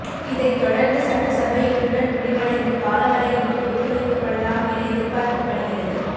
இதைத்தொடர்ந்து சட்டசபை இன்றுடன் முடிவடைந்து காலவரையின்றி ஒத்தி வைக்கப்படலாம் என எதிர்பார்க்கப்படுகிறது